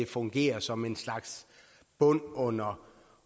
fungere som en slags bund under